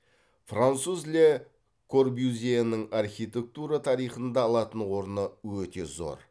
француз ле корбюзьенің архитектура тарихында алатын орны өте зор